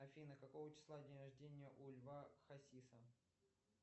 афина какого числа день рождения у льва хасиса